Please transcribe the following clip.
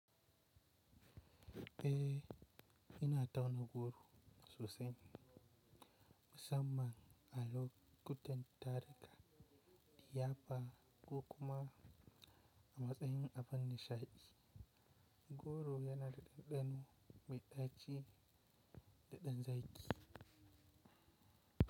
Eh, ina tauna goro sosai. Musamman azo kutantareka liyafa ko kuma a matsayin abun nisha'i. Gudu yana daɗaɗɗen maida'ci da ɗan zaki.